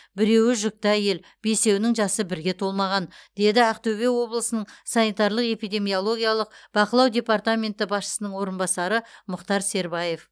біреуі жүкті әйел бесеуінің жасы бірге толмаған деді ақтөбе облысының санитарлық эпидемиологиялық бақылау департаменті басшысының орынбасары мұхтар сербаев